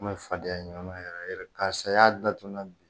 N bɛ fadenya ɲɔgɔn yɛrɛ yɛrɛ karisa i y'a datunun na bi